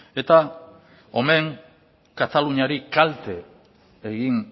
eta omen kataluniari kalte egin